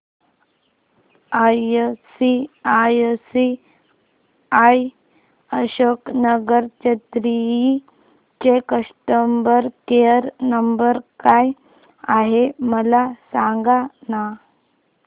ICICI Ashok Nagar Chennai चा customer care number काय आहे मला सांगाना